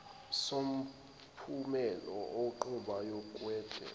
somphumela wenqubo yokudweba